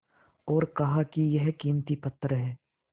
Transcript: और कहा कि यह कीमती पत्थर है